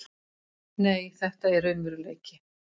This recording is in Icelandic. Nei, þetta er raunveruleiki.